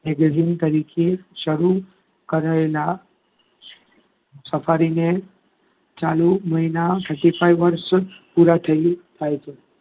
magazine તરીકે શરૂ કરાયેલા સફારીને ચાલુ મહિના thirty five વર્ષ પૂરા થઈ થાય છે.